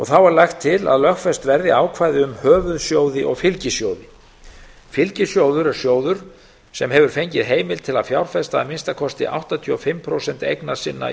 þá er lagt til að lögfest verði ákvæði um höfuðsjóði og fylgisjóði fylgisjóður er sjóður sem hefur fengið heimild til að fjárfesta að minnsta kosti áttatíu og fimm prósent eigna sinna